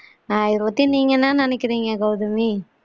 ஆ இத பத்தி நீங்க என்ன நினைக்கிறீங்க கவுதமி